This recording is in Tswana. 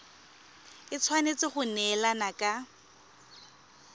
e tshwanetse go neelana ka